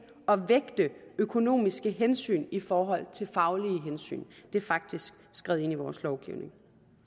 at vægte økonomiske hensyn i forhold til faglige hensyn det er faktisk skrevet ind i vores lovgivning